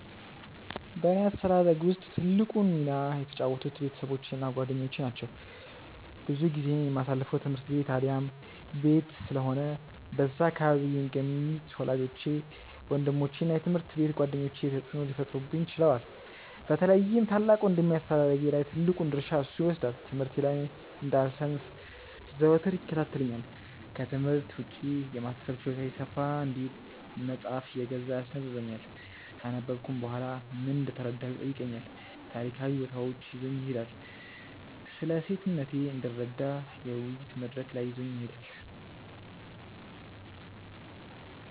በእኔ አስተዳደግ ውስጥ ትልቁን ሚና የተጫወቱት ቤተሰቦቼ እና ጓደኞቼ ናቸው። ብዙ ጊዜዬን የማሳልፈው ትምህርት ቤት አሊያም ቤት ስለሆነ በዛ አካባቢ የሚገኙት ወላጆቼ፤ ወንድሞቼ እና የትምሀርት ቤት ጓደኞቼ ተጽእኖ ሊፈጥሩብኝ ችለዋል። በተለይም ታላቅ ወንድሜ አስተዳደጌ ላይ ትልቁን ድርሻ እርሱ ይወስዳል። ትምህርቴ ላይ እንዳልሰንፍ ዘወትር ይከታተለኛል፤ ክትምህርት ውጪ የማሰብ ችሎታዬ ሰፋ እንዲል መጽሃፍ እየገዛ ያስነበብኛል፤ ካነበብኩም በኋላ ምን እንደተረዳሁ ይጠይቀኛል፤ ታሪካዊ ቦታዎች ይዞኝ ይሄዳል፤ ስለሴትነቴ እንድረዳ የውይይት መድረክ ላይ ይዞኝ ይሄዳል።